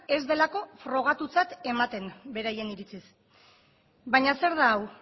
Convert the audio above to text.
ez delako frogatutzat ematen beraien iritziz baina zer da hau